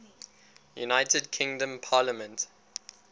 united kingdom parliament